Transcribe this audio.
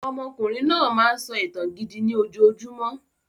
Ọmọkùnrin náà máa ń sọ ìtàn gidi ni ojojúmọ́